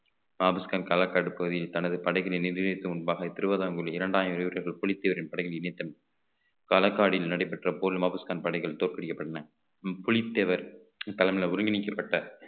பாபுஸ்கான் களக்காடு பகுதியில் தனது படைகளை நிர்ணியதும் முன்பாக இரண்டாயிரம் வீரர்கள் புலித்தேவரின் படையில் இணைத்தனர் காலக்காடியில் நடைபெற்ற போரில் பாபுஸ்கான் படைகள் தோற்கடிக்கப்பட்டன புலித்தேவர் தலைமையில ஒருங்கிணைக்கப்பட்ட